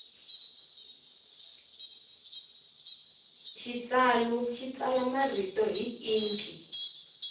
xitsalu xi tsala marito hi inki